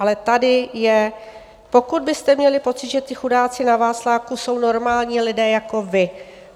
Ale tady je: "Pokud byste měli pocit, že ti chudáci na Václaváku jsou normální lidé jako vy."